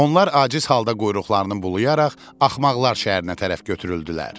Onlar aciz halda quyruqlarını bulayaraq Axmaqlar şəhərinə tərəf götürüldülər.